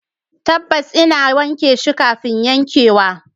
Tabbas, ina wanke shi kafin yankewa